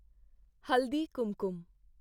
ਹਲਦੀ ਕੁਮਕੁਮ